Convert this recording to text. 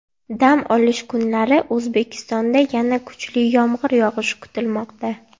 Dam olish kunlari O‘zbekistonda yana kuchli yomg‘ir yog‘ishi kutilmoqda.